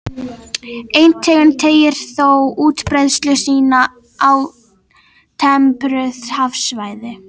Ein tegund teygir þó útbreiðslu sína á tempruð hafsvæði.